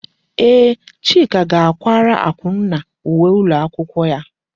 Ee, Chika ga akwara Akunna uwe ụlọ akwụkwọ ya.